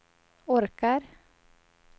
orkar